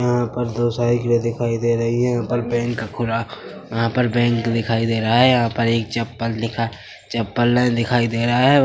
यहाँ पर दो साइडिले दिखाई दे रही है यहाँ पर बैंक खुला यहाँ पर बैंक दिखाई दे रहा है यहाँ पर एक चप्पल दिखाई चप्पले दिखाई दे रहा है।